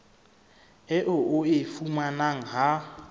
eo o e fumanang ha